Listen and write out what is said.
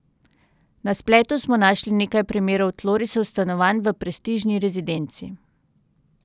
Na spletu smo našli nekaj primerov tlorisov stanovanj v prestižni rezidenci.